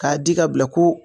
K'a di ka bila ko.